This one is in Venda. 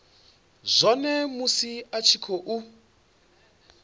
zwone musi a tshi khou